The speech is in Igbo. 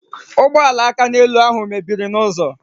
Ụgbọala akaneelu ahụ mebiri n'ụzọ